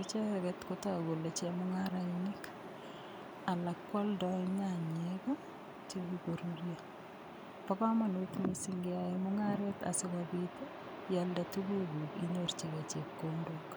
icheget kotogu kole chemung'arainik alak kwoldoi nyanyek chekikorurio bo komonut mising' keyoei mung'aret asikobit ialde tukukuk inyorchigei chepkondok